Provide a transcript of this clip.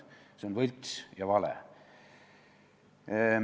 See on võlts ja vale.